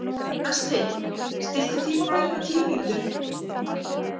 Astrid, stilltu tímamælinn á tíu mínútur.